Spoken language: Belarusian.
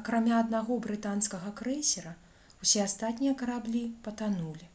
акрамя аднаго брытанскага крэйсера усе астатнія караблі патанулі